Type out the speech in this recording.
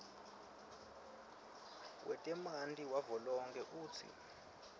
wetemanti wavelonkhe utsi